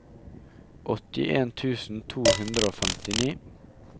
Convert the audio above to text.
åttien tusen to hundre og femtini